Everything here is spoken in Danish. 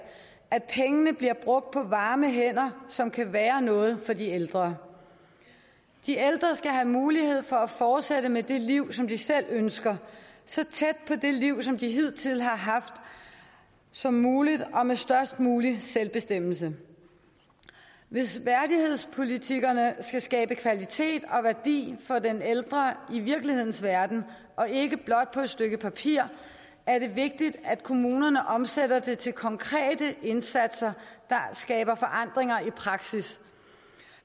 at pengene bliver brugt på varme hænder som kan være noget for de ældre de ældre skal have mulighed for at fortsætte med det liv som de selv ønsker så tæt på det liv som de hidtil har haft som muligt og med størst mulig selvbestemmelse hvis værdighedspolitikkerne skal skabe kvalitet og værdi for den ældre i virkelighedens verden og ikke blot på et stykke papir er det vigtigt at kommunerne omsætter det til konkrete indsatser der skaber forandringer i praksis